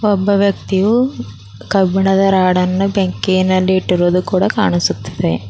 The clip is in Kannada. ಒಬ್ಬ ವ್ಯಕ್ತಿಯು ಕಬ್ಬಿಣದ ರಾಡನ್ನು ಬೆಂಕಿ ನಲ್ಲಿ ಇಟ್ಟಿರೋದು ಕೂಡ ಕಾಣಿಸುತ್ತಿದೆ.